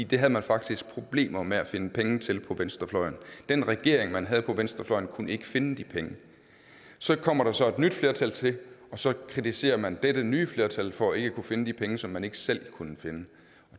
det havde man faktisk problemer med at finde penge til på venstrefløjen den regering man havde på venstrefløjen kunne ikke finde de penge så kommer der så et nyt flertal til og så kritiserer man dette nye flertal for ikke at kunne finde de penge som man heller ikke selv kunne finde